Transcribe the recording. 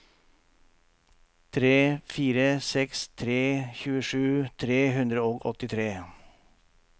tre fire seks tre tjuesju tre hundre og åttitre